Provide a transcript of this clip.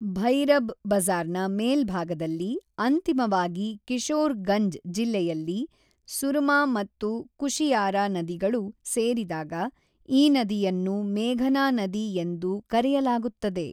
ಭೈರಬ್ ಬಜಾರ್‌ನ ಮೇಲ್ಭಾಗದಲ್ಲಿ ಅಂತಿಮವಾಗಿ ಕಿಶೋರ್ ಗಂಜ್ ಜಿಲ್ಲೆಯಲ್ಲಿ ಸುರಮಾ ಮತ್ತು ಕುಶಿಯಾರಾ ನದಿಗಳು ಸೇರಿದಾಗ, ಈ ನದಿಯನ್ನು ಮೇಘನಾ ನದಿ ಎಂದು ಕರೆಯಲಾಗುತ್ತದೆ.